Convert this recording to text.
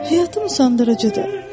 Həyatım usandırıcıdır.